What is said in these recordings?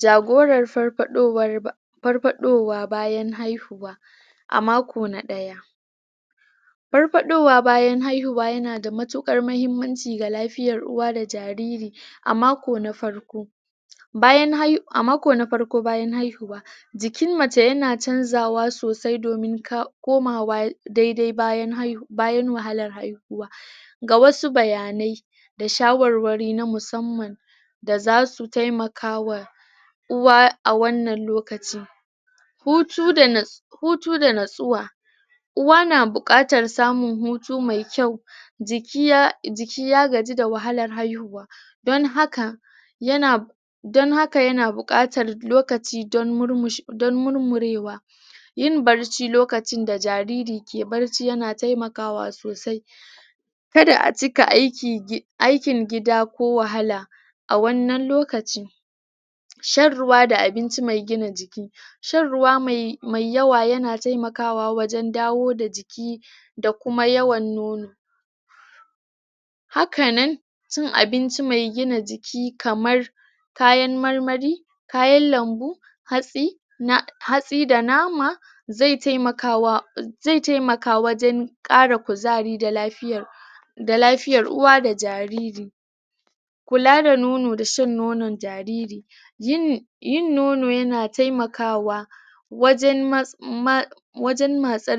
jagorar farfadowa farfadowa bayan haihuwa a mako na daya farfadowa bayan haihuwa yana da matukar mahimmanci da lafiyan uwa da jariri a mako na farko bayan hai a mako na farko bayan haihuwa jikin mace yana chanzawa sosai domin koma wa daidai bayan hai bayan wahalar haihuwa ga wasu bayanai da shawarwari na musamman da zasu taimakawa uwa a wannan lokacin hutu da na hutu da natsuwa uwa na bukatar samun hutu me kyau jiki ya gaji da wahalar haihuwa don haka yana don haka yana bukatar lokaci don murmushe don murmurewa yin bacci lokacin da jariri ke barci yana taimakawa sosai kada a cika aikin gida ko wahala a wannan lokaci shan ruwa da abinci mai gina jiki shan ruwa me yawa yana taimakawa wajen dawo da jiki da kuma yawan nono hakanan cin abinci me gina jiki kamar kayan marmari kayan lambu hatsi hatsi da nama zai taimakawa zai taimaka wajen kara kuzari da lafiya da lafiyar uwa da jariri kula da nono da shan nonon jariri yini yin nono yana taimakawa wajen ma wajen matsar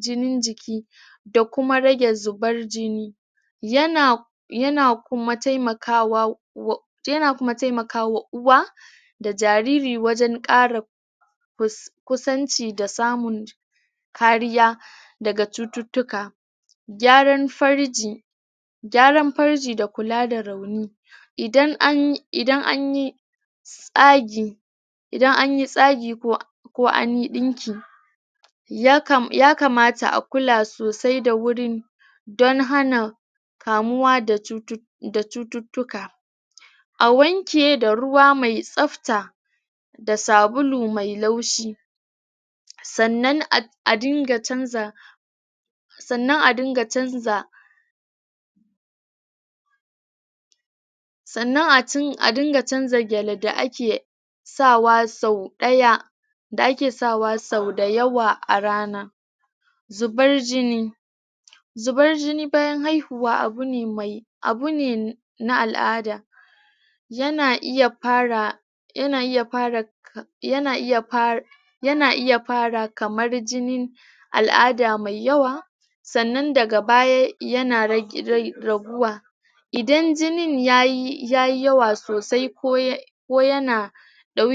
jinin jiki da kuma rage zubar jini yana yana kuma taimakawa um kuma yana taimakawa uwa da jariri wajen kara kusanci da samun kariya daga cututtuka gyaran farji gyaran farji da kula da rauni idan anyi idan an yi tsagi idan anyi tsagi ko anyi dinki ya kam ya kamata a kula sosai da wurin don hana kamuwa da kamuwa da cututtuka a wanke da ruwa me tsabta da sabulu me laushi sannan a dinga sannan a dinga jin jiki sannan a dinga chanza sannan a dunga chanza gyale da ake sa wa sau daya da ake sawa sau da yawa a rana zubar jini zubar jini bayan haihuwa abu ne abune na al'ada yana iya fara yana iya fara yana iya fara yana iya fara kamar jinin al'ada me yawa sannan daga baya yana rage raguwa idan jinin yayi yayi yawa sosai ko ya ko yana ko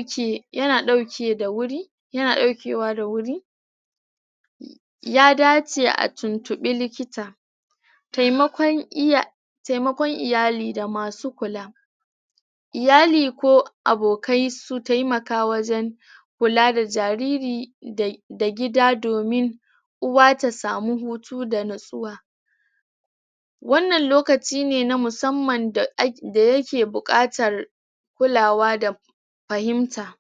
yana dauke da wuri yana daukewa da wuri ya dace a tuntubi likita taimakon iya taimakon iyali da masu kula iyali ko abokai su taimaka wajen kula da jariri da da gida domin uwa ta samu hutu da natsuwa wannan lokaci ne na musamman da ake yake bukatar kulawa da fahimta